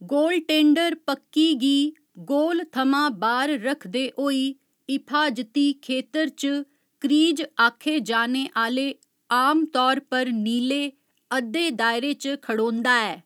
Goaltender पक्की गी goal थमां बाह्‌र रखदे होई हिफाजती खेतर च क्रीज आक्खे जाने आह्‌ले, आमतौर पर नीले, अद्धे दायरे च खड़ोंदा ऐ।